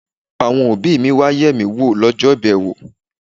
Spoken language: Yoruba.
Àwọn òbí mi wá yẹ̀ mí wò lọ́jọ́ ìbẹ̀wò.